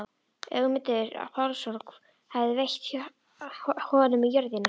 Ögmundur Pálsson hafði veitt honum jörðina.